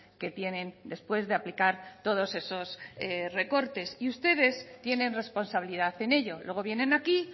que tienen después de aplicar todos esos recortes y ustedes tienen responsabilidad en ello luego vienen aquí